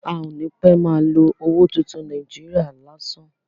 A ò ní pẹ́ má a lo owó tuntun Nàíjíríà lásán.